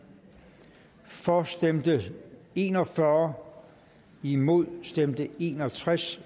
for stemte en og fyrre imod stemte en og tres